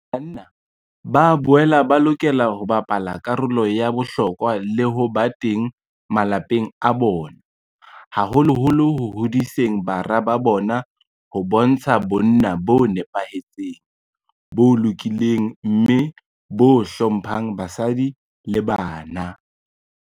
Banna ba boela ba lokela ho bapala karolo ya bohlokwa le ho ba teng malapeng a bona, haholoholo ho hodiseng bara ba bona ho bontsha bonna bo nepahetseng, bo lokileng mme bo hlo mphang basadi le bana.